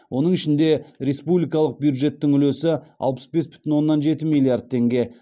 оның ішінде республикалық бюджеттің үлесі алпыс бес бүтін оннан жеті миллиард теңге